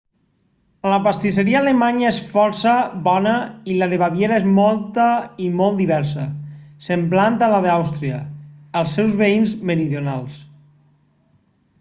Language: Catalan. la pastisseria alemanya és força bona i la de baviera és molta i molt diversa semblant a la d'àustria els seus veïns meridionals